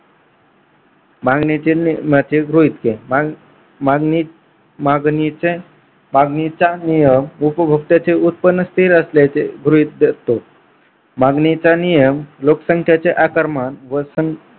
मागणीतील नियमाचे गृहीत मागणी मागणीच्या मागणीचा नियम उपभोगत्याचे उत्पन्न स्थिर असल्याचे गृहीत धरतो. मागणीचा नियम लोकसंख्यांचे आकारमान व संख्या